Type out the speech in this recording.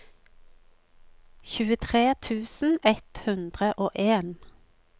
tjuetre tusen ett hundre og en